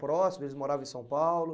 próximos, eles moravam em São Paulo?